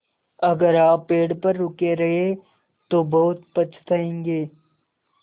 अगर आप पेड़ पर रुके रहे तो बहुत पछताएँगे